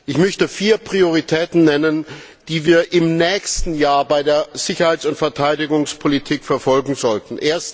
Ich möchte vier Prioritäten nennen, die wir im nächsten Jahr bei der Sicherheits und Verteidigungspolitik verfolgen sollten.